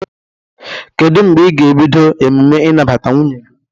Kedu mgbe ị ga-ebido emume inabata nwunnye gi?